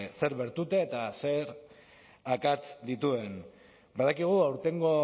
zer bertute eta zer akats dituen badakigu aurtengo